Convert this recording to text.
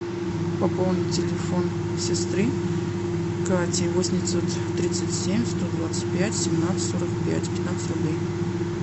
пополнить телефон сестры кати восемь девятьсот тридцать семь сто двадцать пять семнадцать сорок пять пятнадцать рублей